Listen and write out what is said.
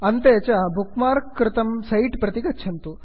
अन्ते bookmark कृतं set प्रति गच्छन्तु